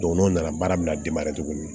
Don n'o nana baara bɛna tugun